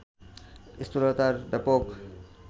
স্থূলতার ব্যাপক